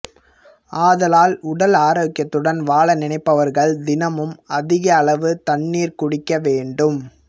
ஆதலால் உடல் ஆரோக்கியத்துடன் வாழ நினைப்பவர்கள் தினமும் அதிக அளவு தண்ணீர் குடிக்க வேண்டும்